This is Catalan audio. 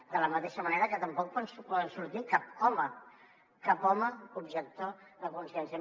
de la mateixa manera que tampoc pot sortir cap home cap home objector de consciència